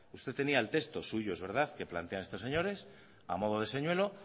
usted tenía el texto suyo es verdad que plantean estos señores a modo de señuelo